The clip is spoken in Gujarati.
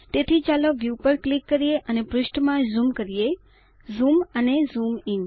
તેથી ચાલો વ્યૂ પર ક્લિક કરીને પૃષ્ઠમાં ઝૂમ કરીએ ઝૂમ અને ઝૂમ ઇન